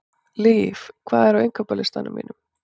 Liv, hvað er á innkaupalistanum mínum?